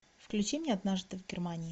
включи мне однажды в германии